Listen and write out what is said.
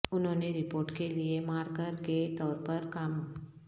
انہوں نے رپورٹ کے لئے مارکر کے طور پر کام